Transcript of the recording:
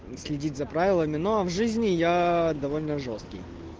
следить за правилами ну а в жизни я довольно жёсткий